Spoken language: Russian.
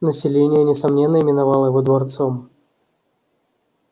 население несомненно именовало его дворцом